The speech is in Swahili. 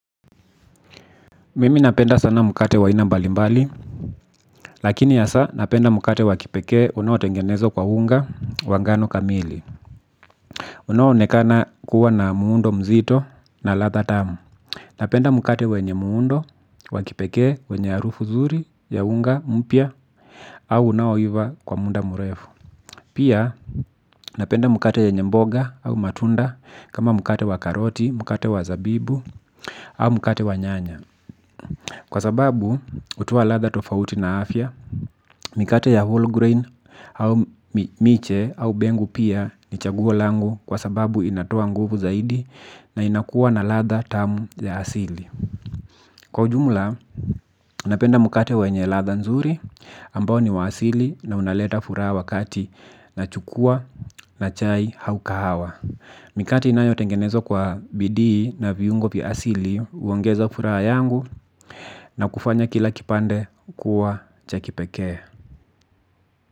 Mimi napenda sana mkate wa aina mbalimbali lakini hasa napenda mkate wa kipekee unao tengenezwa kwa unga wa ngano kamili unaonekana kuwa na muundo mzito na ladha tamu napenda mkate wenye muundo wakipekee wenye harufu zuri ya unga mpya au unaoiva kwa muda mrefu pia napenda mkate yenye mboga au matunda kama mkate wa karoti mkate wa zabibu au mkate wa nyanya kwa sababu hutoa ladha tofauti na afya mikate ya whole grain au miche au mbengu pia ni chagua langu kwa sababu inatoa nguvu zaidi na inakuwa na ladha tamu ya asili. Kwa ujumla napenda mkate wenye ladha nzuri ambao ni wa asili na unaleta furaha wa kati nachukua na chai au kahawa. Mikati inayo tengenezwa kwa bidii na viungo vya asili huongeza furaha yangu na kufanya kila kipande kuwa cha kipekee.